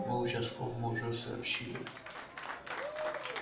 мы участковому уже сообщили